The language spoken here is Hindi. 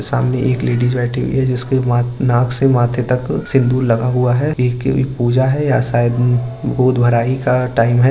सामने एक लेडिज बेठी हुई है जिसके माथ नाक से माथे तक सिन्दूर लगा हुआ है। ये कोई पूजा है या शायद गोद भराई का टाइम है।